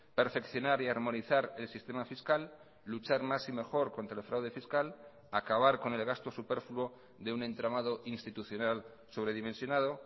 perfeccionar y armonizar el sistema fiscal luchar más y mejor contra el fraude fiscal acabar con el gasto superfluo de un entramado institucional sobredimensionado